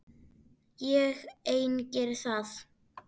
Ég ein geri það.